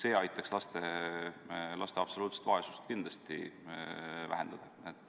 See aitaks laste absoluutset vaesust kindlasti vähendada.